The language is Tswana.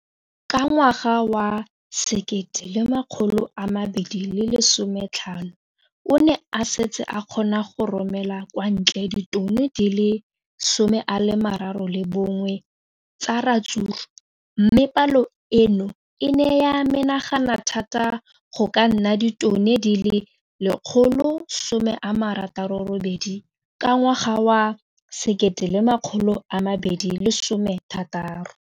Ka ngwaga wa 2015, o ne a setse a kgona go romela kwa ntle ditone di le 31 tsa ratsuru mme palo eno e ne ya menagana thata go ka nna ditone di le 168 ka ngwaga wa 2016.